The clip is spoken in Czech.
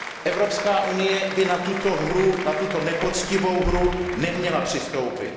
Evropská unie by na tuto hru, na tuto nepoctivou hru neměla přistoupit.